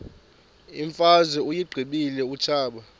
imfazwe uyiqibile utshaba